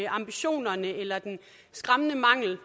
ambitionerne eller den skræmmende mangel